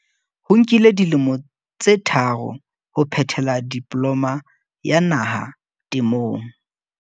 Ho mo nkile dilemo tse tharo ho phethela Diploma ya Naha Temong.